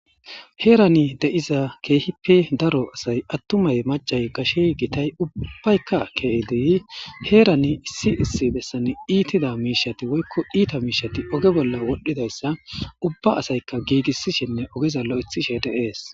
Heerani de7iza keehippe daro asay attumay macay gashe gitay ubbaykka keeidi heerani issi issi bessan iitida miishati woykko iita miishati oge bolla wodhdhidayssa ubba asaykka giigissishinne ogezallo lo7etishe de7ees.